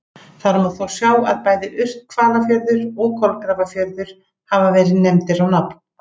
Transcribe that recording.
Þar má þó sjá að bæði Urthvalafjörður og Kolgrafafjörður hafa verið nefndir á nafn.